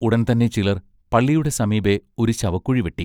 ഉടൻ തന്നെ ചിലർ പള്ളിയുടെ സമീപെ ഒരു ശവക്കുഴി വെട്ടി.